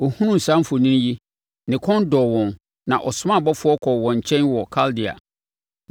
Ɔhunuu saa mfoni yi, ne kɔn dɔɔ wɔn na ɔsomaa abɔfoɔ kɔɔ wɔn nkyɛn wɔ Kaldea.